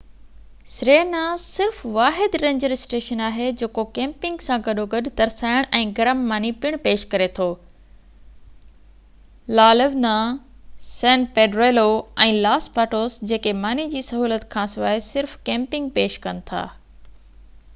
Serena صرف واحد ranger station آهي جيڪو ڪيمپنگ سان گڏوگڏ ترسائڻ ۽ گرم ماني پڻ پيش ڪري ٿو La Leona San Pedrillo ۽ Los Patos جيڪي ماني جي سهولت کانسواءِ صرف ڪيمپنگ پيش ڪن ٿا